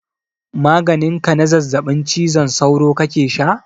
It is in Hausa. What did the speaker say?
Maganin ka na zazzabin cizon sauro kake sha?